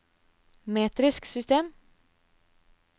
metrisk system